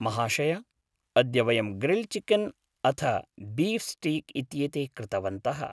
महाशय! अद्य वयं ग्रिल्ड् चिकेन् अथ बीफ़् स्टीक् इत्येते कृतवन्तः।